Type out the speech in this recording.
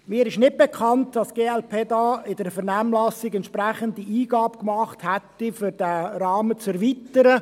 Mir ist nicht bekannt, dass die glp in der Vernehmlassung entsprechende Eingaben gemacht hat, um diesen Rahmen zu erweitern.